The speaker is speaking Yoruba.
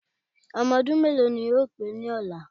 Ọmọ ọdún méèló ni yóò pé ní ọ̀la